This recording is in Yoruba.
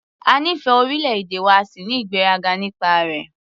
A nífẹ̀ẹ́ orílẹ̀-èdè wa a sì ní ìgbéraga nípa rẹ̀.